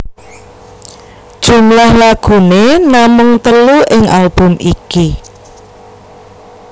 Jumlah lagune namung telu ing album iki